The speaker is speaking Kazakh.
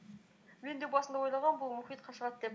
мен де басында ойлағанмын бұл мұхитқа шығады деп